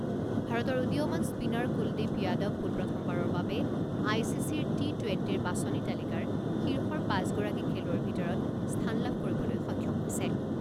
ভাৰতৰ উদীয়মান স্পীনাৰ কুলদ্বীপ যাদৱ পোনপ্ৰথমবাৰৰ বাবে আই চি চিৰ টি টুৱেণ্টিৰ বাচনি তালিকাৰ শীৰ্ষৰ পাঁচগৰাকী খেলুৱৈৰ ভিতৰত স্থান লাভ কৰিবলৈ সক্ষম হৈছে।